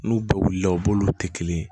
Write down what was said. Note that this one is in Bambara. N'u bɛɛ wulila u b'olu tɛ kelen ye